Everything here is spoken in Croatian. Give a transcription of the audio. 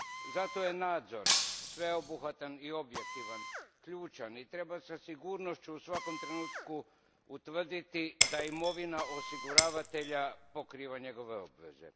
Zato je nadzor, sveobuhvatan i objektivan, ključan i treba sa sigurnošću u svakom trenutku utvrditi da imovina osiguravatelja pokriva njegove obveze.